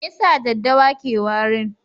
Me yasa daɗɗawa ke warin?